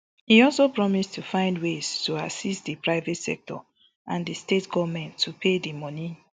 e also promise to find ways to assist di private sector and di state goments to pay di money